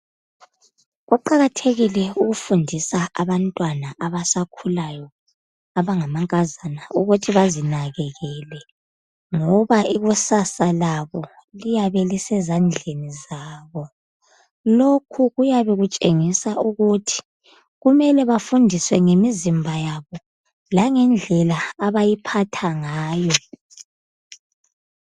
Kuqakathekile ukufundisa abantwana abasakhulayo, abangamankazana, ukuthi bazinakekele, ngoba ikusasa labo, liyabe lisezandleni zabo. Lokhu kuyabe kutshengisa ukuthi kumele bafundiswe ngemizimba yabo, langendlela abayiphatha ngayo.